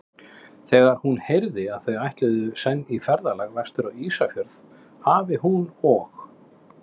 Þegar hún heyrði, að þau ætluðu senn í ferðalag vestur á Ísafjörð, hafi hún og